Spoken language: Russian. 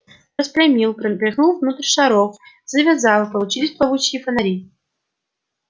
распрямил пропихнул внутрь шаров надул завязал получились плавучие фонари